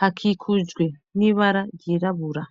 hakikujwe n'ibara ryirabura.